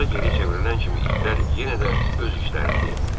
Fransua geri çevrilən kimi itlər yenə də öz işlərində idilər.